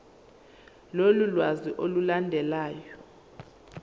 lolu lwazi olulandelayo